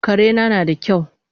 Karena nada kyau